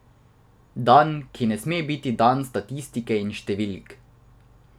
Dan, ki ne sme biti dan statistike in številk.